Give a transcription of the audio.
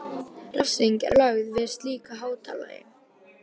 Refsing er lögð við slíku háttalagi.